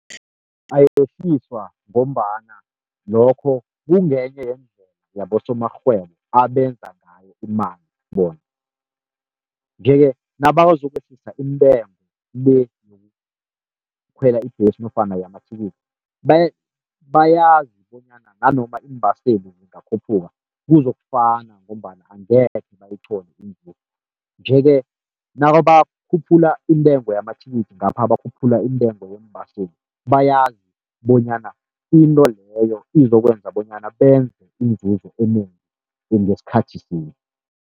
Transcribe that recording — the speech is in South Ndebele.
Ayehliswa ngombana lokho kungenye yeendlela yabosomarhwebo abenza ngayo imali bona. Nje-ke nabazokwehlisa intengo le yokukhwela ibhesi nofana yamathikithi, bayazi bonyana nanoma iimbaseli zingakhuphuka kuzokufana, ngombana angekhe bayithole inzuzo. Nje-ke nakabakhuphula intengo yamathikithi ngapha bakhuphula intengo yeembaseli, bayazi bonyana into leyo izokwenza bonyana benze inzuzo enengi ngesikhathi sinye.